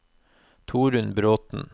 Torunn Bråthen